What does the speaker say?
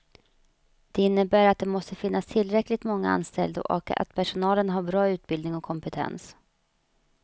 Det innebär att det måste finnas tillräckligt många anställda och att personalen har bra utbildning och kompetens.